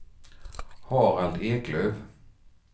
Harald Eklöf